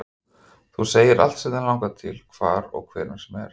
Þú segir allt sem þig langar til, hvar og hvenær sem er